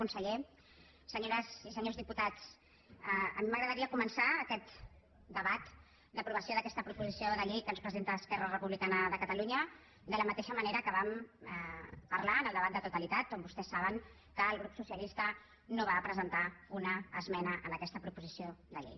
conseller senyores i senyors diputats a mi m’agradaria començar aquest debat d’aprovació d’aquesta proposició de llei que ens presenta esquerra republicana de catalunya de la mateixa manera que vam parlar en el debat de totalitat on vostès saben que el grup socialista no va presentar una esmena a aquesta proposició de llei